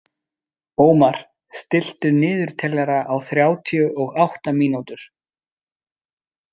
Ómar, stilltu niðurteljara á þrjátíu og átta mínútur.